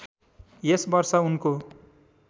यस वर्ष उनको